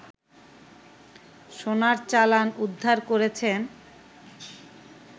সোনার চালান উদ্ধার করেছেন